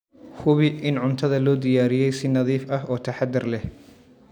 Hubi in cuntada loo diyaariyey si nadiif ah oo taxadar leh.